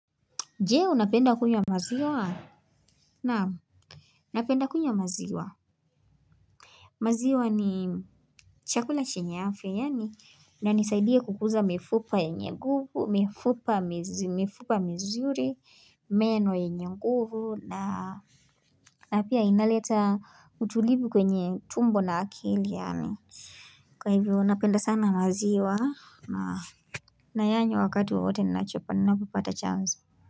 Je unapenda kunywa maziwa? Naam ninapenda kunywa maziwa, maziwa ni chakula chenye afya yaani inanisaidia kukuza mifupa yenye nguvu mifupa mizuri meno yenye nguvu na na pia inaleta utulivu kwenye tumbo na akili yaani kwa hivyo napenda sana maziwa naa nayanywa wakati wowote ninachopa ninapopata chance.